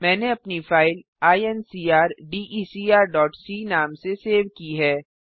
मैंने अपनी फाइल incrdecrसी नाम से सेव की है